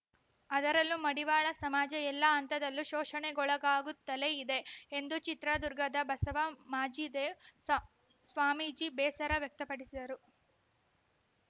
ಅದರಲ್ಲೂ ಮಡಿವಾಳ ಸಮಾಜ ಎಲ್ಲಾ ಹಂತದಲ್ಲೂ ಶೋಷಣೆಗೊಳಗಾಗುತ್ತಲೇ ಇದೆ ಎಂದು ಚಿತ್ರದುರ್ಗದ ಬಸವ ಮಾಚಿದೇವ ಸಾ ಸ್ವಾಮೀಜಿ ಬೇಸರ ವ್ಯಕ್ತಪಡಿಸಿದರು